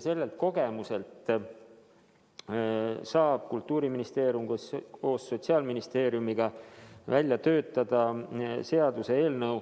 Selle kogemuse põhjal saab Kultuuriministeerium koos Sotsiaalministeeriumiga töötada välja seaduseelnõu